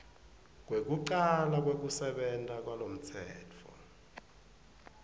kwekucala kwekusebenta kwalomtsetfo